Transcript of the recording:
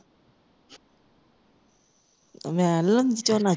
ਮੈਂ ਨਹੀਂ ਲੈਂਦੀ ਝੋਨਾ ਚੂਨਾ